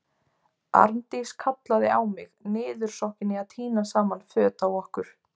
Arndís kallaði á mig, niðursokkin í að tína saman föt á okkur.